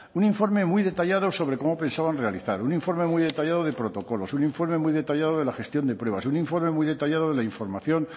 un informe muy detallado sobre cómo pensaban realizar un informe muy detallado de protocolos un informe muy detallado de la gestión de pruebas un informe muy detallado de la información